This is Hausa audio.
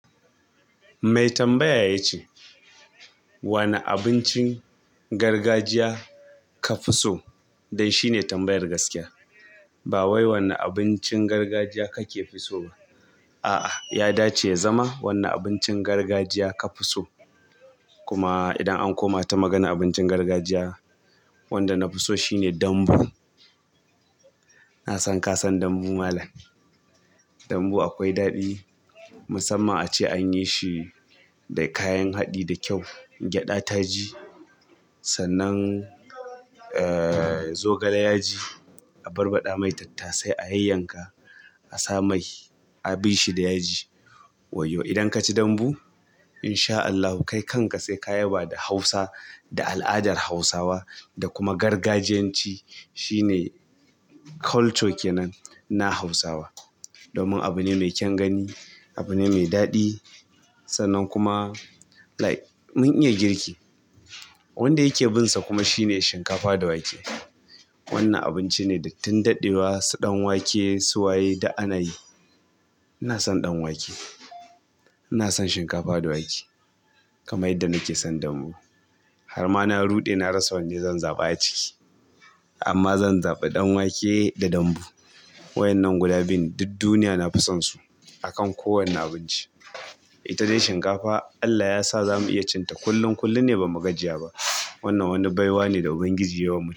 Mai tambaya ya ce, "Wane abincin gargajiya ka fi so?" Dan shine tambayar gaskiya. Ba wai wane abincin gargajiya kake fi so ba. A'a, ya dace ya zama wanne abincin gargajiya ka fi so. Kuma idan an koma ta maganar abincin gargajiya, wanda na fi so shine dambu. Na san ka san dambu malam. Dambu akwai daɗi, musamman a ce an yi shi da kayan haɗi da kyau. Gyada ta ji, sannan zogale yaji a barbaɗamai tattase ayayyanka asa mai a bishi da yaji. Wayyo! Idan ka ci dambu in sha Allahu kai kanka sai ka yaba da Hausa da al'adar Hausawa da kuma gargajiyanci shine culture ke nan na Hausawa. Domin abu ne mai kyan gani abu ne mai daɗi sannan kuma like mun iya girki. Wanda yake binsa kuma shine shinkafa da wake. Wannan abinci ne da tun daɗewa su ɗanwake, suwaye duk ana yi. Ina son ɗanwake. Ina son shinkafa da wake kamar yadda nake san dambu. Har ma na ruɗe na rasa wanda zan zaɓa a ciki. Amma zan zaɓi ɗanwake da dambu. Waƴannan guda biyu duk duniya na fi sansu a kan kowane abinci. Ita de shinkafa Allah yasa zamu iya cinta kullum. Kullum ne ba magajiya ba. Wannan wani baiwa ne da Ubangiji ya yi wa mu.